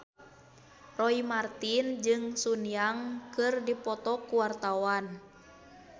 Roy Marten jeung Sun Yang keur dipoto ku wartawan